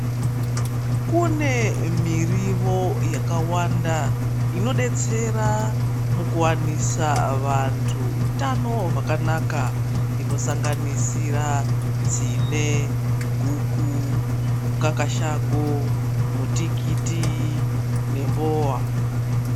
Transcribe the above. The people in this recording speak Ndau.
Kune miriwo yakawanda inodetsera mukuwanise vanthu utano hwakanaka inosanganisira tsine guku mukakashango mutikiti nembowa .